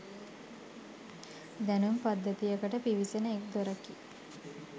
දැනුම් පද්ධතියකට පිවිසෙන එක් දොරකි